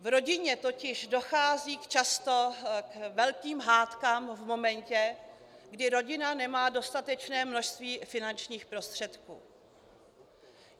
V rodině totiž dochází často k velkým hádkám v momentě, kdy rodina nemá dostatečné množství finančních prostředků.